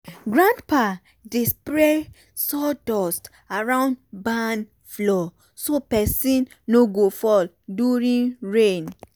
grandpa dey spray sawdust around barn floor so person no go fall during rain.